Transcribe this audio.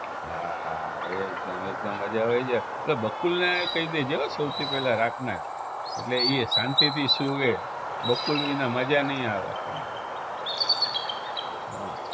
હા એકદમ એકદમ મજા હવે જે એ બકુલને કહી દેજે હો સૌથી પેલા રાતના જ એટલે ઈ શાંતીથી સુવે. બકુલ વિના મજા નહિ આવે આપણને હા